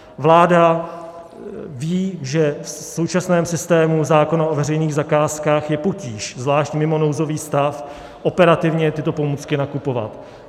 Vláda ví, že v současném systému zákona o veřejných zakázkách je potíž, zvlášť mimo nouzový stav, operativně tyto pomůcky nakupovat.